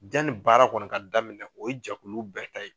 Janni baara kɔni ka daminɛ o ye jɛkulu bɛɛ ta ye.